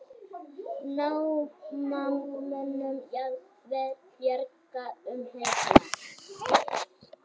Námamönnum jafnvel bjargað um helgina